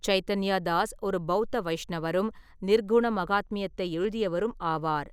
சைதன்யா தாஸ் ஒரு பௌத்த வைஷ்ணவரும், நிர்குண மகாத்மியத்தை எழுதியவரும் ஆவார்.